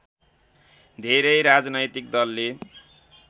धेरै राजनैतिक दलले